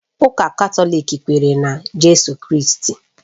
Ụka Katọlik kwere na Jizọs Kraịst